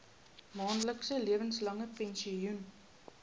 maandelikse lewenslange pensioen